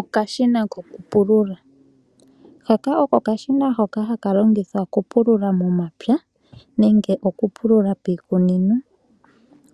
Okashina kokupulula. Haka oko okashina hoka haka longithwa okupulula momapya nenge okupulula miikunino.